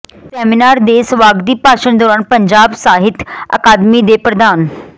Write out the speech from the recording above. seminar ਦੇ ਸਵਾਗਤੀ ਭਾਸ਼ਨ ਦੌਰਾਨ ਪੰਜਾਬ ਸਾਹਿਤ ਅਕਾਦਮੀ ਦੇ ਪ੍ਰਧਾਨ ਡਾ